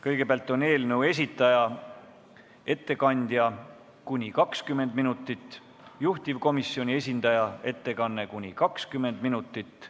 Kõigepealt on eelnõu esitaja ettekanne kuni 20 minutit, seejärel juhtivkomisjoni esindaja ettekanne kuni 20 minutit.